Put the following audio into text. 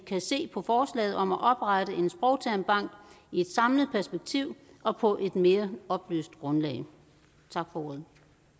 se på forslaget om at oprette en sprogtermbank i et samlet perspektiv og på et mere oplyst grundlag tak for ordet